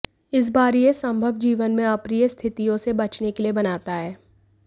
इस बार यह संभव जीवन में अप्रिय स्थितियों से बचने के लिए बनाता है